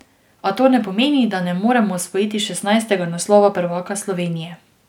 A to ne pomeni, da ne moremo osvojiti šestnajstega naslova prvaka Slovenije.